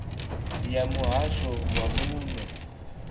ya muhasho wa zwa muno